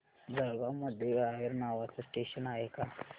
जळगाव मध्ये रावेर नावाचं स्टेशन आहे का